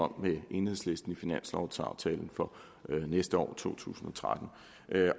med enhedslisten om i finanslovaftalen for næste år to tusind og tretten